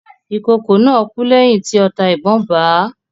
Ìkokò náà kú lẹ́yìn tí ọta ìbọn bà á.